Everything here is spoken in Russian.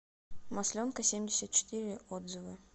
масленкасемьдесятчетыре отзывы